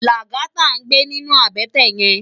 Lagata n gbé ninú àbètè yèn